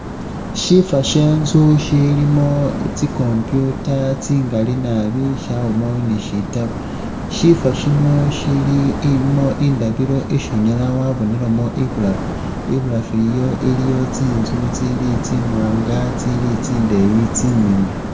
Shifo she intsu shilimo tsi computer tsingaali naabi shabaamo ni shitaabo shifo shino ilimo indabilo isi unyaala wabonelamo ibulaafu, ibulaafu iyo iliyo tsintsu tsili tsi mwanga tsili tsindeeyi tsimiliyu .